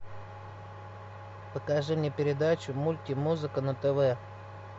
покажи мне передачу мульти музыка на тв